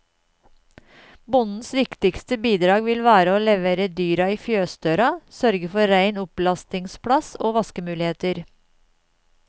Bondens viktigste bidrag vil være å levere dyret i fjøsdøra, sørge for rein opplastingsplass og vaskemuligheter.